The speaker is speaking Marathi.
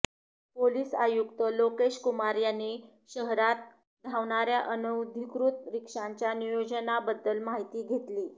पोलिस आयुक्त लोकेशकुमार यांनी शहरात धावणार्या अनधिकृत रिक्षांच्या नियोजनाबद्दल माहिती घेतली